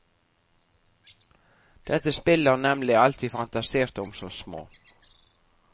Dette spillet har nemlig alt vi fantaserte om som små.